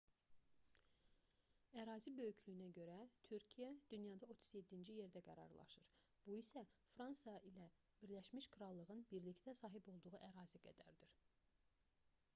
ərazi böyüklüyünə görə türkiyə dünyada 37-ci yerdə qərarlaşır bu isə fransa ilə birləşmiş krallığın birlikdə sahib olduğu ərazi qədərdir